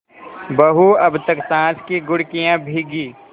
बहू अब तक सास की घुड़कियॉँ भीगी